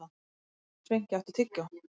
Sveinki, áttu tyggjó?